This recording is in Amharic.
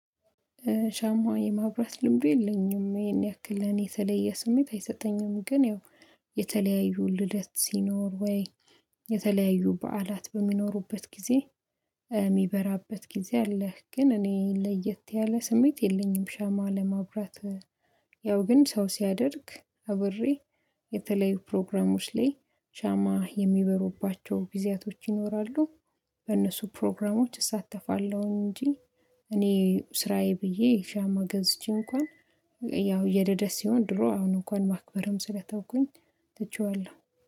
ሻማ የማብራት ልምዱ የለኝም ይሄን ያክል ለኔ የተለየ ስሜት አይሰጠኝም። ግን ያው የተለያዩ ልደት ሲኖር ወይ የተለያዩ በዓላት በሚኖሩበት ጊዜ የሚበራበት ጊዜ አለህ? ግን እኔ ለየት ያለ ስሜት የለኝም። ሻማ ለማብራት። ያው ግን ሰው ሲያደርግ አብሬ የተለያዩ ፕሮግራሞች ላይ ሻማ የሚበሩባቸው ጊዜያቶች ይኖራሉ። በእነሱ ፕሮግራሞች እሳተፋለሁ እንጂ። እኔ ስራዬ ብዬ ሻማ ገዝቼ እንኳን ያው የልደት ሲሆን ድሮ አሁን እንኳን ማክበርም ስለተወኩኝ ትቼዋለሁ